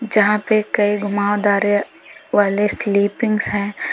जहां पे कई घुमावदारे वाले स्लीपिंग है।